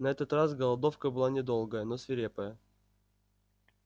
на этот раз голодовка была недолгая но свирепая